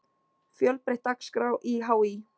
Fjölbreytt dagskrá í HÍ